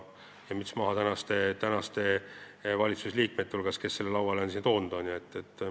Müts maha praeguste valitsusliikmete ees, kes on selle siia lauale toonud.